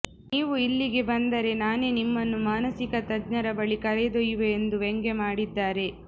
ನೀವು ಇಲ್ಲಿಗೆ ಬಂದರೆ ನಾನೇ ನಿಮ್ಮನ್ನು ಮಾನಸಿಕ ತಜ್ಞರ ಬಳಿ ಕರೆದೊಯ್ಯುವೆ ಎಂದು ವ್ಯಂಗ್ಯ ಮಾಡಿದ್ದಾರೆ